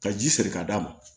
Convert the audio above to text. Ka ji siri ka d'a ma